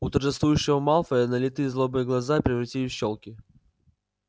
у торжествующего малфоя налитые злобой глаза превратились в щёлки